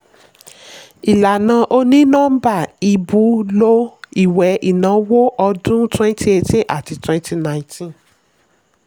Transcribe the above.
ìlànà onínọ́mbà ìbú lò ìwé ìnáwó ọdún 2018 àti 2019.